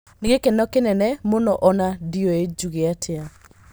"Nĩ gĩkeno kĩnene mũno ona ndiũĩ njũge atĩa".